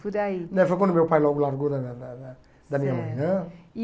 Por aí. Né foi quando meu pai largou da da da da minha mãe. Certo, e